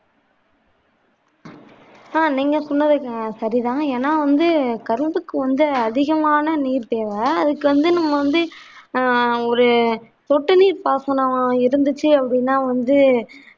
ஆஹ் நீங்க சொன்னது சரிதான் ஏன்னா வந்து கரும்புக்கு வந்து அதிகமான நீர் தேவை அதுக்கு வந்து நம்ம வந்து ஆஹ் ஒரு தொட்டு நீர் பாசனமா இருந்துச்சு அப்படினா வந்து